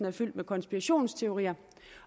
er fyldt med konspirationsteorier